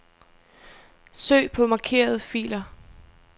Søg på markerede filer.